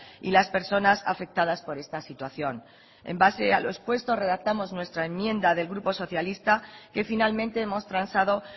y las personas afectadas por esta situación en base a lo expuesto redactamos nuestra enmienda del grupo socialista que finalmente hemos transado